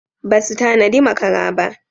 Basu tanadi makara ba.